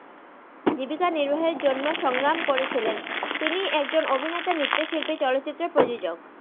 জিবিকা নিরবাহের জন্য সংরাম করেছিলেন তিনি একজন অভিনেতা নিরদেসিকি চলচিরের প্রজজক